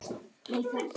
Þín María Björk.